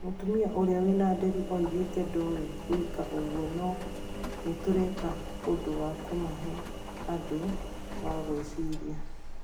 Mũtumia ũrai wĩna nderu augite ndowe guĩka ũguo no , nitũreka ũndũ wa kũmahe andũ wa gũeciria.